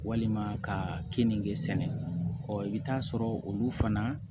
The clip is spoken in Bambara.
Walima ka kenke sɛnɛ ɔ bɛ taa sɔrɔ olu fana